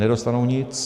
Nedostanou nic.